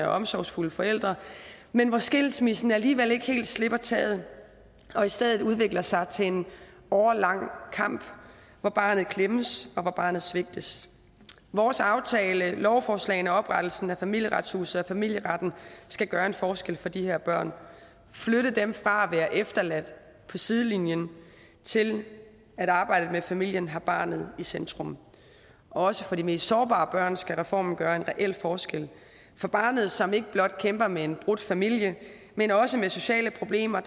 og omsorgsfulde forældre men hvor skilsmissen alligevel ikke helt slipper taget og i stedet udvikler sig til en årelang kamp hvor barnet klemmes og hvor barnet svigtes vores aftale lovforslagene og oprettelsen af familieretshuset og familieretten skal gøre en forskel for de her børn flytte dem fra at være efterladt på sidelinjen til at arbejdet med familien har barnet i centrum også for de mest sårbare børn skal reformen gøre en reel forskel for barnet som ikke blot kæmper med en brudt familie men også med sociale problemer